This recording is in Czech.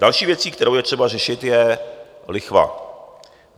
Další věcí, kterou je třeba řešit, je lichva.